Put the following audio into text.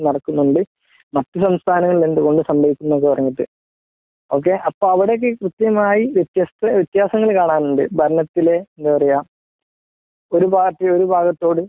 നടക്കുന്നുണ്ട് മറ്റ് സംസ്ഥാനങ്ങളിൽ എന്തുകൊണ്ട് സംഭവിക്കുന്നത് പറഞ്ഞിട്ട് ഓകെ അപ്പോ അവിടെ ഒക്കെ കൃത്യമായി വ്യത്യസ് വ്യത്യാസങ്ങൾ കാണാനുണ്ട് ഭരണത്തിലെ എന്താ പറയാ ഒരു പാർട്ടി ഒരു ഭാഗത്തോട്